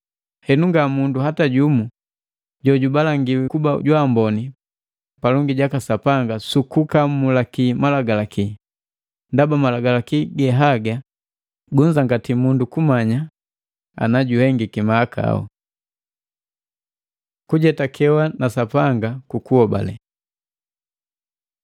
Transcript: Henu nga mundu hata jumu jojubalangiwa kuba jwaamboni palongi jaka Sapanga sukukamulaki Malagalaki, ndaba Malagalaki gehaga gunzangati mundu kumanya ana juhengiki mahakau.” Kujetakewa na Sapanga kukuhobale